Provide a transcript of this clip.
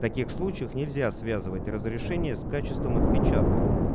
в таких случаях нельзя связывать разрешение с качеством отпечатков